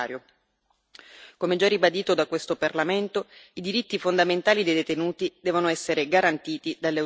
Come già ribadito da questo Parlamento, i diritti fondamentali dei detenuti devono essere garantiti dalle autorità nazionali.